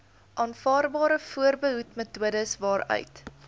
aanvaarbare voorbehoedmetodes waaruit